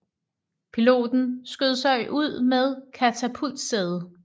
Piloten skød sig ud med katapultsædet